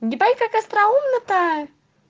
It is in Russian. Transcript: ебать как остроумно то